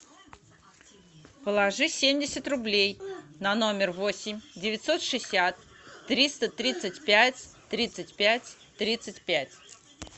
положи семьдесят рублей на номер восемь девятьсот шестьдесят триста тридцать пять тридцать пять тридцать пять